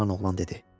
Cavan oğlan dedi.